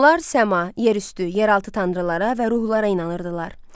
Hunlar səma, yerüstü, yeraltı tanrılara və ruhlara inanırdılar.